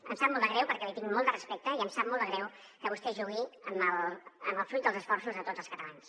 em sap molt de greu perquè li tinc molt de respecte i em sap molt de greu que vostè jugui amb el fruit dels esforços de tots els catalans